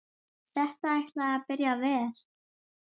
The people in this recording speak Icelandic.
Þetta ætlaði að byrja vel!